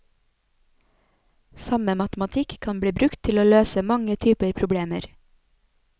Samme matematikk kan bli brukt til å løse mange typer problemer.